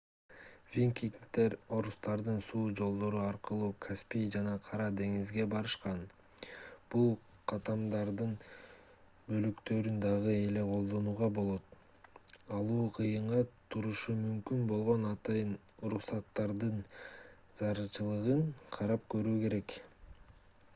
викингдер орустардын суу жолдору аркылуу каспий жана кара деңизге барышкан бул каттамдардын бөлүктөрүн дагы эле колдонууга болот алуу кыйынга турушу мүмкүн болгон атайын уруксаттардын зарылчылыгын карап көрүү керек